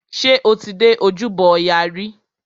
Ṣé o ti dé ojúbọ ọya rí?